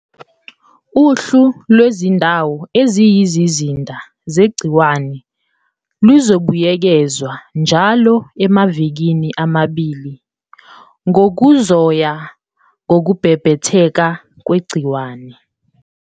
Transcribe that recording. Uhlu lwezindawo eziyizizinda zegciwane luzobuyekezwa njalo emva kwamaviki amabili ngokuzoya ngokubhebhetheka kwegciwane.